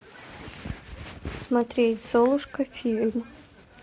смотреть золушка фильм